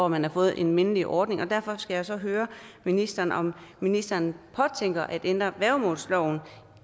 man fået en mindelig ordning og derfor skal jeg høre ministeren om ministeren påtænker at ændre værgemålsloven